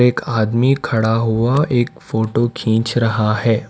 एक आदमी खड़ा हुआ एक फोटो खींच रहा है।